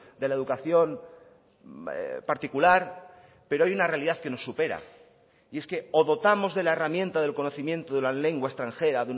de la educación particular pero hay una realidad que nos supera y es que o dotamos de la herramienta del conocimiento de la lengua extranjera